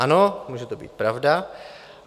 Ano, může to být pravda.